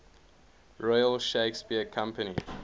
royal shakespeare company